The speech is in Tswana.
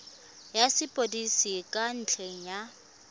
ya sepodisi ka ntlha ya